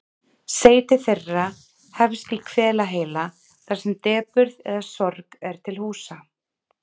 Seyti þeirra hefst í hvelaheila þar sem depurð eða sorg er til húsa.